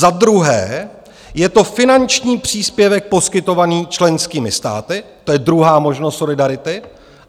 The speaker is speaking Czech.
Za druhé, je to finanční příspěvek poskytovaný členskými státy, to je druhá možnost solidarity.